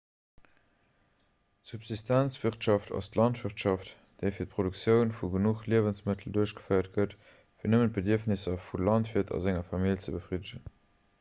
subsistenzwirtschaft ass d'landwirtschaft déi fir d'produktioun vu genuch liewensmëttel duerchgeféiert gëtt fir nëmmen d'bedierfnesser vum landwiert a senger famill ze befriddegen